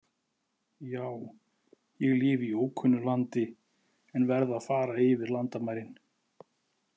Já, ég lifi í ókunnu landi en verð að fara yfir landamærin.